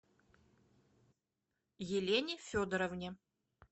елене федоровне